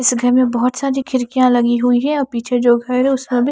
इस घर में बोहोत सारी खिडकिया लगी हुई है और पीछे जो घर है उसका भी --